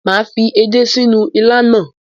Mà á fi edé sínú il náà.